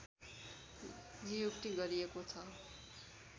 नियुक्ति गरिएको छ